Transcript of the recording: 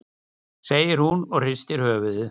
segir hún og hristir höfuðið.